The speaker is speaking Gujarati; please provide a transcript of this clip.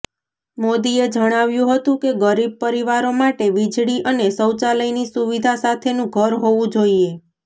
મોદીએ જણાવ્યું હતું કે ગરીબ પરિવારો માટે વીજળી અને શૌચાલયની સુવિધા સાથેનું ઘર હોવું જોઇએ